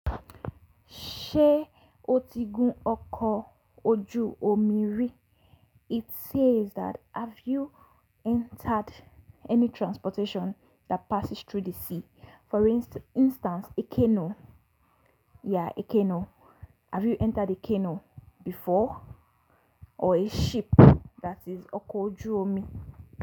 Ṣé o ti gún ọkọ̀ ojú omi rí? It says that have you entered any transportation that passes through the sea? For instance, a canoe. Yeah, a canoe. Have you entered a canoe before? Or a ship, that is ọkọ̀ ojú omi.